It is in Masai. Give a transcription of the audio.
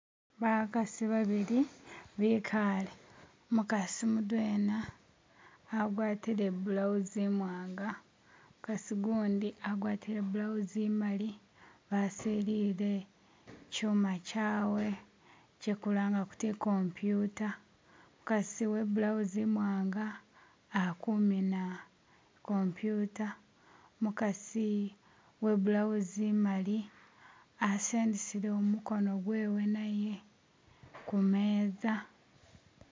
bakasi babili bikale umukasi mudwela agwatile ibulawuzi imwanga umukasi gundi agwatile ibulawuzi imali basilile kyuma kyawe kyekulanga kuti ikompyuta umukasi webulawuzi imwanga akumina ikompyuta umukasi webulawuzi imali asendeselewo mukono naye kumeza